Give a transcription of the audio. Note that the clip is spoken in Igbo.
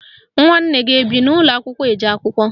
Nwanne gị ebi n'ụlọakwụkwọ eje akwụkwọ?